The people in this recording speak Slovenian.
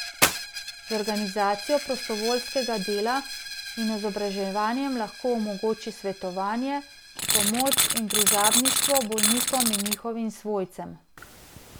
Z organizacijo prostovoljskega dela in izobraževanjem lahko omogoči svetovanje, pomoč in družabništvo bolnikom in njihovim svojcem.